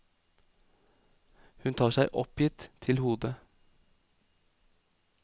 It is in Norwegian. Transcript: Hun tar seg oppgitt til hodet.